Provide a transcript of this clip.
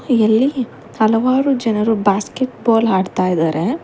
ಇಲ್ಲಿ ಹಲವಾರು ಜನರು ಬಾಸ್ಕೆಟ ಬಾಲ್ ಆಡ್ತಾ ಇದಾರೆ.